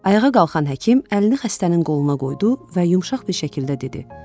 Ayağa qalxan həkim əlini xəstənin qoluna qoydu və yumşaq bir şəkildə dedi: